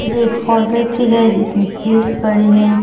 ये एक फार्मेसी है जिसमें चीज पड़ी हैं।